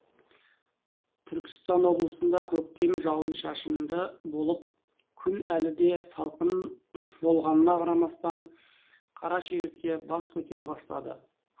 түркістан облысында көктем жауын шашынды болып күн әлі де салқын болғанына қарамастан қара шегіртке бас көтере бастады